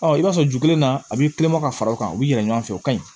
Ɔ i b'a sɔrɔ ju kelenna a b'i kulonkɛ ka fara o kan u bɛ yɛlɛ ɲɔgɔn fɛ o ka ɲi